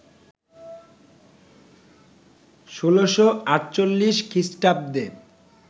১৬৪৮ খ্রিস্টাব্দে